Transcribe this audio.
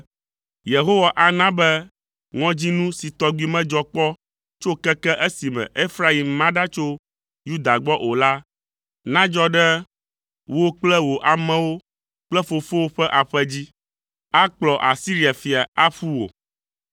Yehowa ana be ŋɔdzinu si tɔgbi medzɔ kpɔ tso keke esime Efraim ma ɖa tso Yuda gbɔ o la nadzɔ ɖe wò kple wò amewo kple fofowò ƒe aƒe dzi. Akplɔ Asiria fia aƒu wò.”